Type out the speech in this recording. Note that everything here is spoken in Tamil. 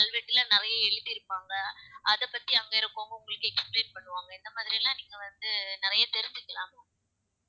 கல்வெட்டுல நிறைய எழுதி இருப்பாங்க அதை பத்தி அங்க இருக்கிறவங்க உங்களுக்கு explain பண்ணுவாங்க இந்த மாதிரி எல்லாம் நீங்க வந்து நிறைய தெரிஞ்சுக்கலாம் ma'am